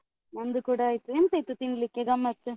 ನಂದು ಕೂಡ ಆಯ್ತು. ಎಂತ ಇತ್ತು ತಿನ್ಲಿಕ್ಕೆ ಗಮತ್ತ್?